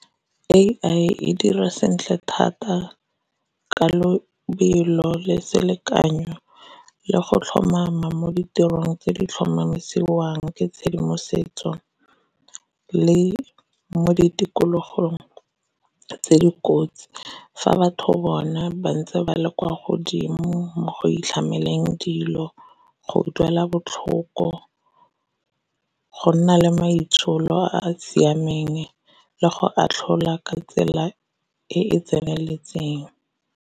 A_I e dira sentle thata ka lobelo le selekanyo le go tlhomama mo ditirong tse di tlhomamisediwang ke tshedimosetso le mo di tikologong tse dikotsi. Fa batho bona ba ntse ba le kwa godimo mo go itlhameleng dilo, go duela botlhoko, go nna le maitsholo a a siameng, le go atlhola ka tsela e e tseneletseng.